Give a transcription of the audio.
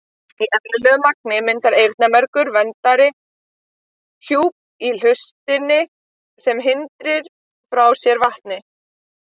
Í eðlilegu magni myndar eyrnamergur verndandi hjúp í hlustinni sem hrindir frá sér vatni.